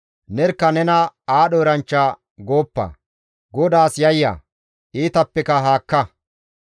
Nerkka nena aadho eranchcha gooppa; GODAAS yayya; iitappeka haakka.